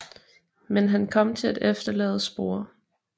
Men han kom til at efterlade spor